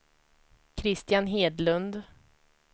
Christian Hedlund